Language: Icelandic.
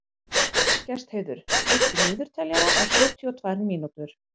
Gestheiður, stilltu niðurteljara á sjötíu og tvær mínútur.